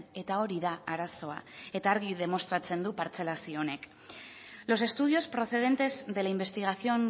eta hori da arazoa eta argi demostratzen du partzelazio honek los estudios procedentes de la investigación